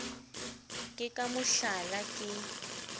ke ka mo hlala ke